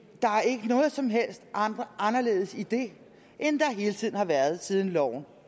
der er ikke noget som helst anderledes i det end der hele tiden har været siden loven